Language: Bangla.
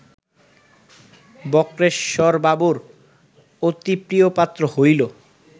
বক্রেশ্বরবাবুর অতি প্রিয়পাত্র হইল